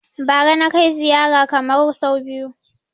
Bara na kai ziyara Kamaru sau biyu